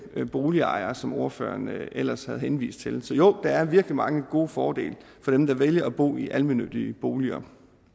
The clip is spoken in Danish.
boligejere som ordføreren ellers har henvist til så jo der er virkelig mange gode fordele for dem der vælger at bo i almennyttige boliger